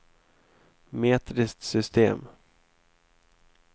metriskt system